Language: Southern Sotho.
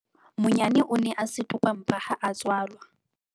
Monyane o ne a setopampa ha a tswalwa.